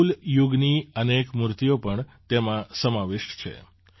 ચૌલ યુગની અનેક મૂર્તિઓ પણ તેમાં સમાવિષ્ટ છે